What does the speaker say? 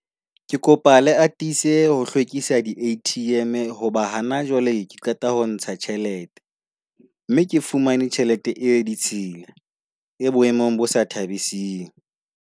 Ke kopa le atise ho hlwekisa di-A_T_M. Hoba hona jwale ke qeta ho ntsha tjhelete, mme ke fumane tjhelete e ditshila e boemong bo sa thabising.